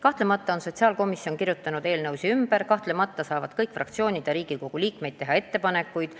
Kahtlemata on sotsiaalkomisjon kirjutanud eelnõusid ümber, kahtlemata saavad kõik fraktsioonid ja Riigikogu liikmed teha ettepanekuid.